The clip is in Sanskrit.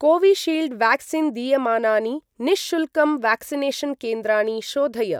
कोविशील्ड् व्याक्सीन् दीयमानानि निःशुल्कं व्याक्सिनेषन् केन्द्राणि शोधय।